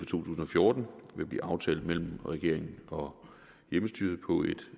tusind og fjorten vil blive aftalt mellem regeringen og hjemmestyret på et